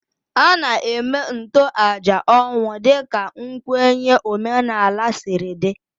A na-eme ntoaja ọnwụ dịka nkwenye omenala siri dị